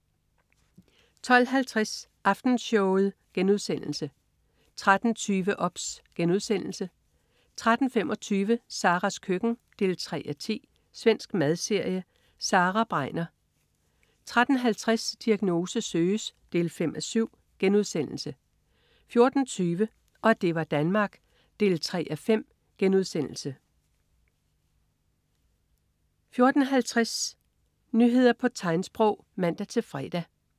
12.50 Aftenshowet* 13.20 OBS* 13.25 Saras køkken 3:10. Svensk madserie. Sara Begner 13.50 Diagnose søges 5:7* 14.20 Og det var Danmark 3:5* 14.50 Nyheder på tegnsprog (man-fre)